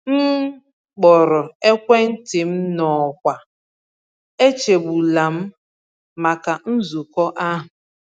M kpọrọ ekwentị m n’ọkwa “echegbula m” maka nzukọ ahụ.